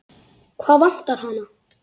Hvað vantar hana?